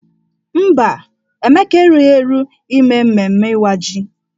Mba, Emeka erughi eru ime mmemme Ịwa ji.